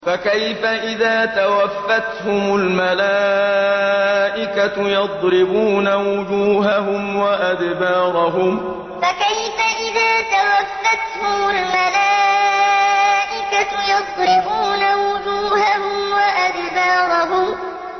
فَكَيْفَ إِذَا تَوَفَّتْهُمُ الْمَلَائِكَةُ يَضْرِبُونَ وُجُوهَهُمْ وَأَدْبَارَهُمْ فَكَيْفَ إِذَا تَوَفَّتْهُمُ الْمَلَائِكَةُ يَضْرِبُونَ وُجُوهَهُمْ وَأَدْبَارَهُمْ